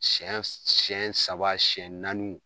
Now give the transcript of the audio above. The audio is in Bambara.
Siyɛn saba siyɛn naaniw